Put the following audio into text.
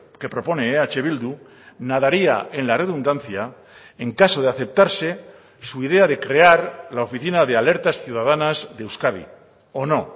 que propone eh bildu nadaría en la redundancia en caso de aceptarse su idea de crear la oficina de alertas ciudadanas de euskadi o no